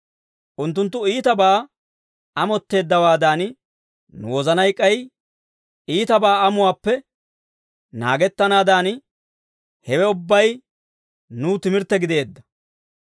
Unttunttu iitabaa amotteeddawaadan, nu wozanay k'ay iitabaa amuwaappe naagettanaadan, hewe ubbay nuw timirtte gideedda.